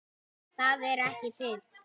ÞAÐ ER EKKI TIL!!!